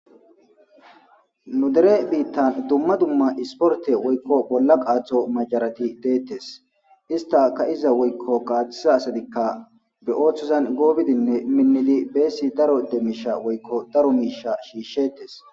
Nudere biittan dumma dumma isporte woykko bolla qaatho macarati deettes ista ka iza woykko kaatisa asadikka be ooththozan goobidinne minnidi beessi daro demiisha woykko daro miisha shiishshetes.